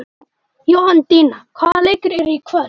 Jóhanndína, hvaða leikir eru í kvöld?